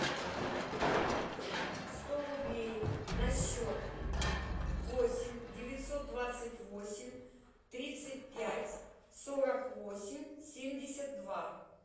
сто рублей на счет восемь девятьсот двадцать восемь тридцать пять сорок восемь семьдесят два